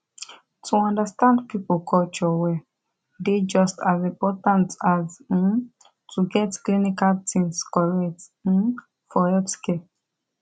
to understand people culture well dey just as important as um to get clinical things correct um for healthcare